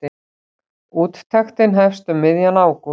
Úttektin hefst um miðjan ágúst.